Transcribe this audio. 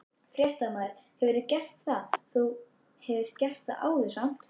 Fréttamaður: Hefurðu gert það, þú hefur gert það áður samt?